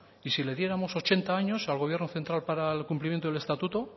y si le diéramos ochenta años al gobierno central para el cumplimiento del estatuto